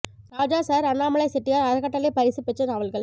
ராஜா sir Annamalai Chettiar அறக்கட்டளைப் பரிசு பெற்ற நாவல்கள்